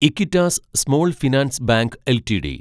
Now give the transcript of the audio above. Equitas small finance bank LTD